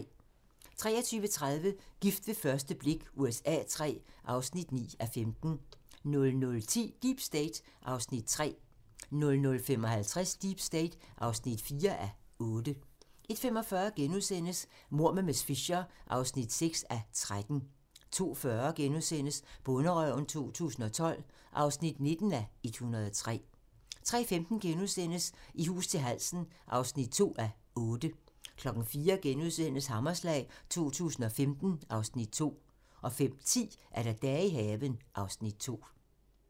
23:30: Gift ved første blik USA III (9:15) 00:10: Deep State (3:8) 00:55: Deep State (4:8) 01:45: Mord med miss Fisher (6:13)* 02:40: Bonderøven 2012 (19:103)* 03:15: I hus til halsen (2:8)* 04:00: Hammerslag 2015 (Afs. 2)* 05:10: Dage i haven (Afs. 2)